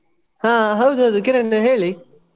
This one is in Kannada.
ಹಾ ಹೌದೌದು ಕಿರಣ್ ಹೇಳಿ?